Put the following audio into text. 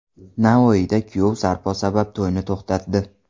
Navoiyda kuyov sarpo sabab to‘yni to‘xtatdi .